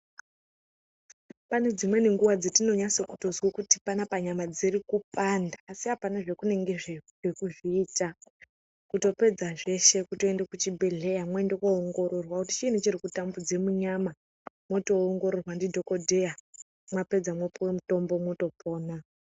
Pane dzimweni nguwa dzatinonase kunzwa kuti panapa nyama dziri kupanda asi apana zvatinenge teikona kuzviita ,kutopedza zveshe kutoenda kuchibhehlera mwoende koongororwa kuti chiiini chiri kutambudze munyama, mwotoongororwa ndidhokoteya mwapedza mwopuwe mutombo, mwotopona.